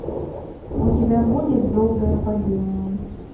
у тебя будет долгое падение